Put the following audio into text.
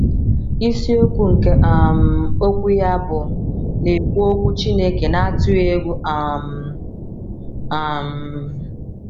Isiokwu nke um okwu ya bụ “ Na - ekwu Okwu Chineke n’Atụghị Egwu um. ” um